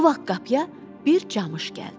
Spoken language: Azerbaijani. Bu vaxt qapıya bir camış gəldi.